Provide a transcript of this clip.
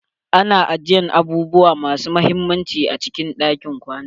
AnA ajiyan abubuwa masu mahimmanci a cikin ɗakin kwana.